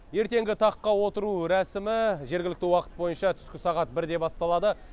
ертеңгі таққа отыру рәсімі жергілікті уақыт бойынша түскі сағат бірде басталады